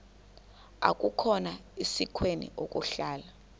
akukhona sikweni ukuhlala